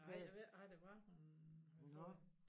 Nej jeg ved ikke hvad det var hun havde fået